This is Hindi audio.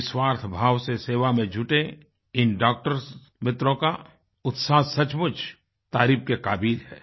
निस्वार्थ भाव से सेवा में जुटे इन डॉक्टर्स मित्रों का उत्साह सचमुच तारीफ़ के काबिल है